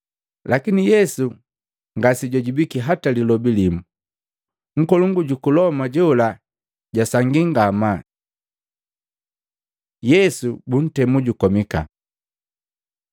Lakini Yesu ngase jwajibwiki hata lilobi limu, nkolongu juku Loma jola jwasangi ngamaa. Yesu buntemu jukomika Maluko 15:6-15; Luka 23:13-25; Yohana 18:39-19:16